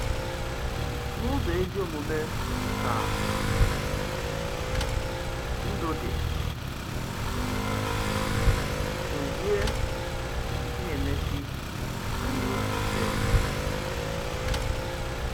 N’ụzọ ezi omume ka ndụ dị, Dòzie na-èmèsi anyị obi ike.